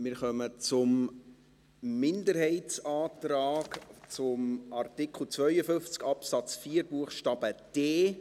Wir kommen zum Minderheitsantrag zu Artikel 52 Absatz 4 Buchstabe d.